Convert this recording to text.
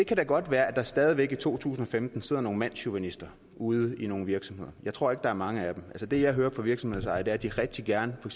kan da godt være at der stadig væk i to tusind og femten sidder nogle mandschauvinister ude i nogle virksomheder jeg tror ikke at der er mange af dem det jeg hører fra virksomhedsejere er at de rigtig gerne for